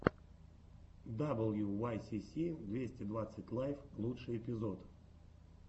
даблюуайсиси двести двадцать лайв лучший эпизод